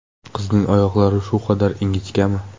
Qizning oyoqlari shu qadar ingichkami?!